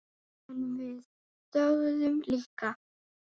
En við þögðum líka.